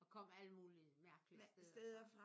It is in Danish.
Og kom alle mulige mærkelige steder fra